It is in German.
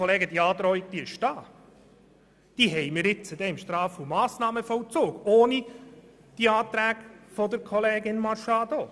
Aber die Androhung besteht bereits, nämlich im Straf- und Massnahmenvollzug, und zwar ohne die Anträge von Kollegin Machado.